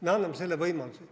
Me anname selle võimaluse.